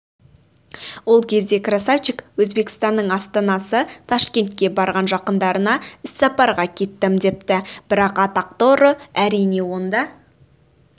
ол кезде красавчик өзбекстанның астанасы ташкентке барған жақындарына іссапарға кеттім депті бірақ атақты ұры әрине онда